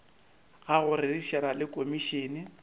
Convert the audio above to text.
ga go rerišana le komišene